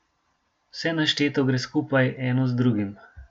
Vse našteto gre skupaj eno z drugim.